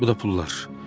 Bu da pullar.